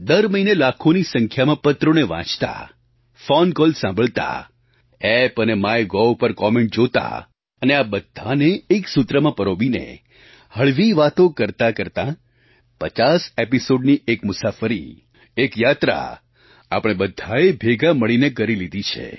દર મહિને લાખોની સંખ્યામાં પત્રોને વાંચતાં ફૉન કૉલ સાંભળતાં ઍપ અને માય ગોવ પર કૉમેન્ટ જોતાં અને આ બધાંને એક સૂત્રમાં પરોવીને હળવી વાતો કરતાંકરતાં 50 એપિસૉડની એક મુસાફરી એક યાત્રા આપણે બધાંએ ભેગાં મળીને કરી લીધી છે